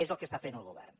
és el que està fent el govern